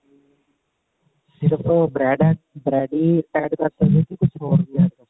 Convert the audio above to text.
ਸਿਰਫ bread bread ਹੀ add ਕਰ ਸਕਦੇ ਹਾਂ ਜਾਂ ਕੁਝ ਹੋਰ ਵੀ